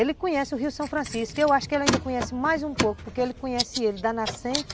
Ele conhece o rio São Francisco, eu acho que ele ainda conhece mais um pouco, porque ele conhece ele da nascente,